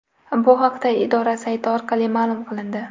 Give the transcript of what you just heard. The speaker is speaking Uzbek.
Bu haqda idora sayti orqali ma’lum qilindi .